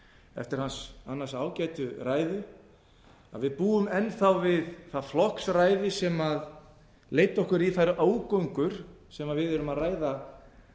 eftir hans annars ágætu ræðu að við búum enn við það flokksræði sem leiddi okkur í þær ógöngur sem við erum að ræða